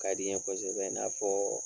Ka di n kosɛbɛ i n'a fɔ